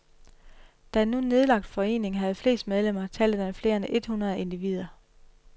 Da en nu nedlagt forening havde flest medlemmer, talte den flere end et hundrede individer.